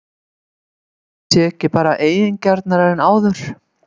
Ætli ég sé ekki bara eigingjarnari en áður?!